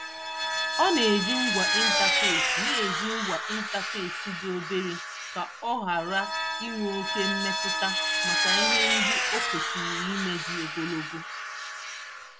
Ọ na-eji ngwa ịntafesi na-eji ngwa ịntafesi dị obere ka ọ ghara ịnwe oke mmetụta maka ihe ndị o kwesịrị ime dị ogologo.